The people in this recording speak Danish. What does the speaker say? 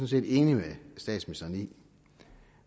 set enig med statsministeren i